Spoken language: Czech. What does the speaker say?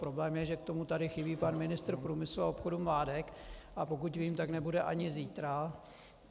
Problém je, že tady k tomu chybí pan ministr průmyslu a obchodu Mládek, a pokud vím, tak nebude ani zítra.